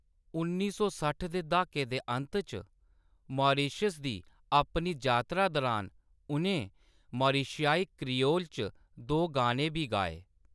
उन्नी सौ सट्ठ दे दहाके दे अंत च मॉरीशस दी अपनी जातरा दरान उʼनें मारिशियाई क्रियोल च दो गाने बी गाए।